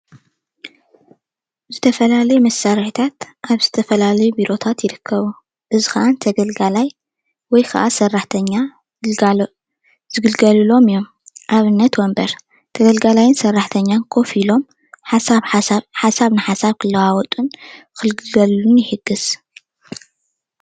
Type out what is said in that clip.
ዝተፈላለየ መሳርሕታት ኣብ ዝተፈላለየ ቦሮታት ይርከቡ፡፡ እዚ ከዓ ተገልጋላይ ወይ ከዓ ሰራሕተኛ ዝግልገልሎም እዮም ፡፡ ኣብነት ወንበር ተገልጋለይን ሰራሕተኛን ኮፍ ኢሎም ሓሰብ ንሓሰብ ክለዋወጡን ክግክገልሉን ይሕግዝ፡፡